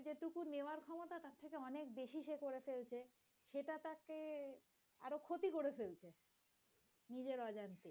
ক্ষতি করে ফেলছে নিজের অজান্তেই।